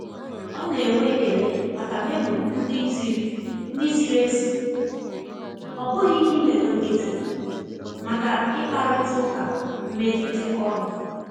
Ọ na-enwe ekele maka memo ndi ziri ndi ziri ezi, ọ bụghị email nkịtị, maka ịkparịta ụka mmelite ọrụ.